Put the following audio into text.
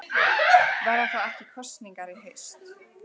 Verða þá ekki kosningar í haust?